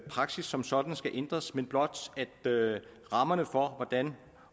praksis som sådan skal ændres men blot til at rammerne for hvordan